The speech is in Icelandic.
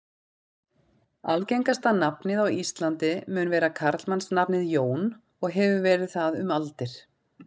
Algengasta nafnið á Íslandi mun vera karlmannsnafnið Jón og hefur verið það um aldir.